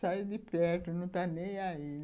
Sai de perto, não está nem aí